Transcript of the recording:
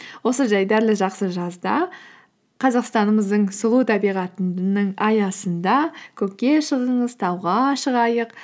осы жайдарлы жақсы жазда қазақстанымыздың сұлу табиғатының аясында көкке шығыңыз тауға шығайық